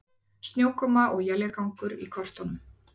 Snjókoma og éljagangur í kortunum